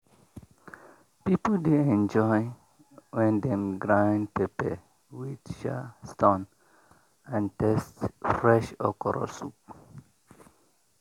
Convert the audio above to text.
people dey enjoy when dem grind pepper with um stone and taste fresh okro soup.